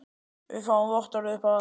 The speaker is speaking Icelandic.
Við fáum vottorð upp á það.